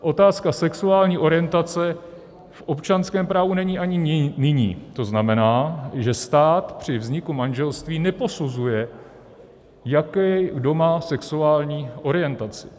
Otázka sexuální orientace v občanském právu není ani nyní, to znamená, že stát při vzniku manželství neposuzuje, jakou kdo má sexuální orientaci.